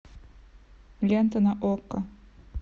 лента на окко